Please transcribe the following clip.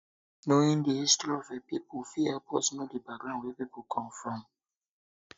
knowing di history of a pipo of a pipo fit um help us know di background wey pipo come from